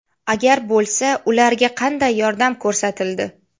Agar bo‘lsa, ularga qanday yordam ko‘rsatildi?